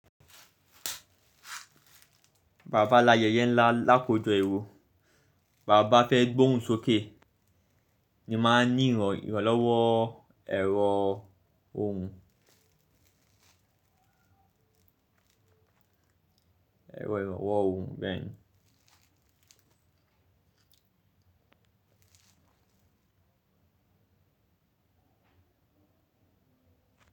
Bàa bá layẹyẹ ńlá lákòó jọ ẹro, bàa bá fẹ́ gbóhùn sókè ni ma ní ìrànlọ́wọ́ ẹ̀rọ ohùn. Ẹ̀rọ ìrànlọ́wọ́ ohùn bẹ́ẹ̀ni.